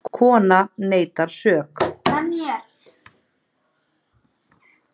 Konan neitaði sök.